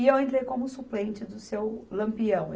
E eu entrei como suplente do seu Lampião.